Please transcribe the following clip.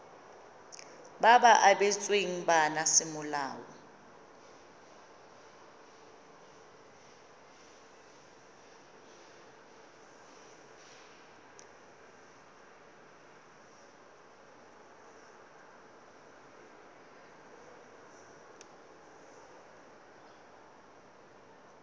ba ba abetsweng bana semolao